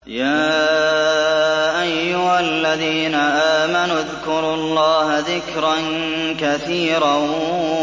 يَا أَيُّهَا الَّذِينَ آمَنُوا اذْكُرُوا اللَّهَ ذِكْرًا كَثِيرًا